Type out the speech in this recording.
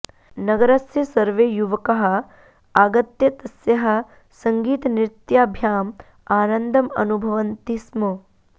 नगरस्य सर्वे युवकाः आगत्य तस्याः सङ्गीतनृत्याभ्याम् आनन्दम् अनुभवन्ति स्म